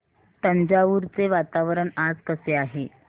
तंजावुर चे वातावरण आज कसे आहे